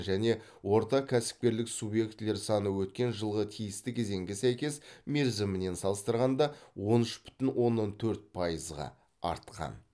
және орта кәсіпкерлік субъектілер саны өткен жылғы тиісті кезеңге сәйкес мерзімімен салыстырғанда он үш бүтін оннан төрт пайызға артқан